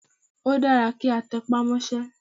Ó dára kí a tẹpá mọ́sẹ́.